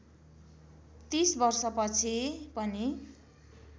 ३० वर्षपछि पनि